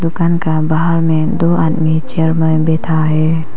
दुकान का बाहर में दो आदमी चेयर में बैठा है।